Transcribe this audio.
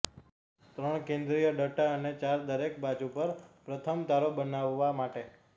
ત્રણ કેન્દ્રીય ડટ્ટા અને ચાર દરેક બાજુ પર પ્રથમ તારો બનાવવા માટે